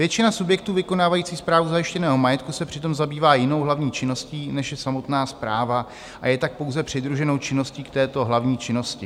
Většina subjektů vykonávající správu zajištěného majetku se přitom zabývá jinou hlavní činností, než je samotná správa, a je tak pouze přidruženou činností k této hlavní činnosti.